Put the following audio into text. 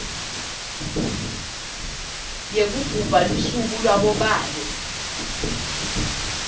yekugubha lusuku labobabe